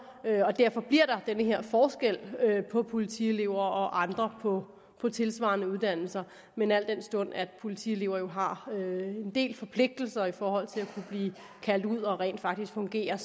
har og derfor bliver der den her forskel på politielever og andre på på tilsvarende uddannelser men al den stund politielever jo har en del forpligtelser i forhold til at kunne blive kaldt ud og rent faktisk fungere